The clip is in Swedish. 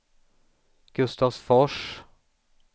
Gustavsfors